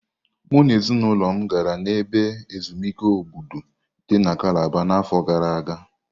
Mụ na ezinụlọ m gara n'ebe ezumike Obudu dị na kalaba na afọ gara aga.